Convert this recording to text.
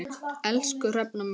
Elsku Hrefna mín.